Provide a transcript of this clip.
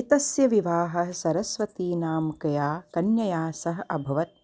एतस्य विवाहः सरस्वतीनामिकया कन्यया सह अभवत्